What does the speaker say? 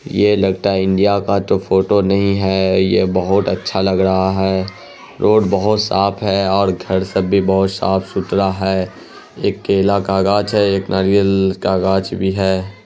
ये लगता है तो इंडिया का फोटो नहीं है। ये बहुत अच्छा लग रहा है। रोड बहुत साफ़ है और घर सब भी बहुत साफ़ सुथरा है। एक केला का गाछ भी है। एक नारियल का गाछ भी है।